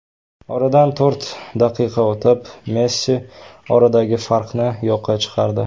Oradan to‘rt daqiqa o‘tib Messi oradagi farqni yo‘qqa chiqardi.